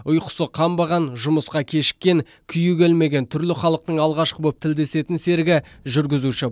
ұйқысы қанбаған жұмысқа кешіккен күйі келмеген түрлі халықтың алғашқы болып тілдесетін серігі жүргізуші